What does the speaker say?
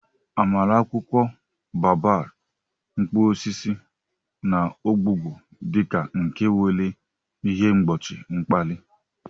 Amara akwụkwọ baobab, mkpụrụ osisi, na ogbugbo di ka nke nwere ihe mgbochi mkpali.